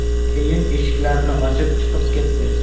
Keyin eshiklarni ochib, chiqib ketdi.